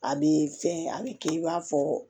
A bɛ fɛn a bɛ kɛ i b'a fɔ